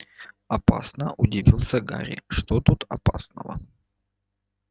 опасно удивился гарри что тут опасного